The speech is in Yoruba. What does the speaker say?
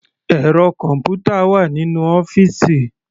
Ẹ̀rọ kọ̀npútà wà nínú ọ́fìsì.